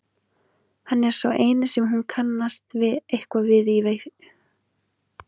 Hann er sá eini sem hún kannast eitthvað við í veislunni.